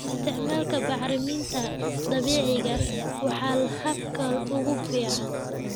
Isticmaalka bacriminta dabiiciga ah waa habka ugu fiican.